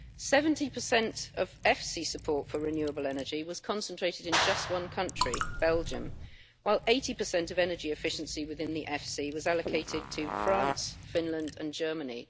Seventy per cent of EFSI support for renewable energy was concentrated in just one country, Belgium, while 80 of energy efficiency within the EFSI was allocated to France, Finland and Germany.